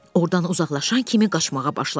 Ordan uzaqlaşan kimi qaçmağa başladı.